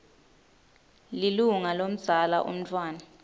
lilunga lomdzala umntfwana